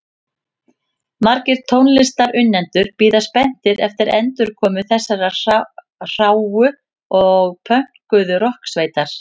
Margir tónlistarunnendur bíða spenntir eftir endurkomu þessarar hráu og pönkuðu rokksveitar.